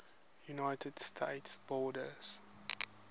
united states border